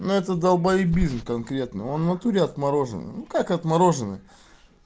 но это долбоебизм конкретно он в натуре отмороженный ну как отмороженный